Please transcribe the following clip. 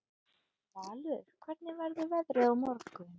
Valur, hvernig verður veðrið á morgun?